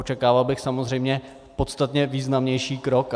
Očekával bych samozřejmě podstatně významnější krok.